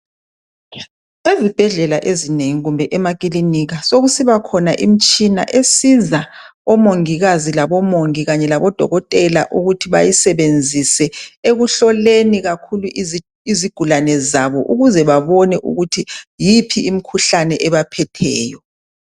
Ezibhedlela ezinengi kumbe emakilinika sokusiba khona imtshina esiza omongikazi labomongi kanye labodokotela ukuthi bayisebenzise ekuhloleni izigulane zabo ukuze babone ukuthi yiphi imkhuhlane ebaphetheyo.